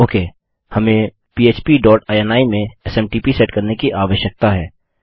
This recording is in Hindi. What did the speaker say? ओके हमें पह्प डॉट इनी में एसएमटीपी सेट करने की आवश्यकता है